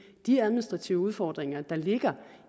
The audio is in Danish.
de administrative udfordringer der ligger